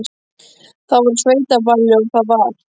Það var á sveitaballi og það var.